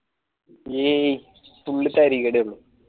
യീ full താരികിടെ ഉള്ളു